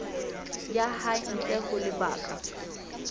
ya hae ntle ho lebaka